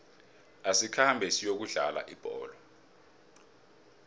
asikhambe siyokudlala ibholo